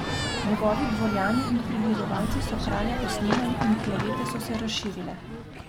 Njegovi dvorjani in prilizovalci so kralja posnemali in klevete so se razširile.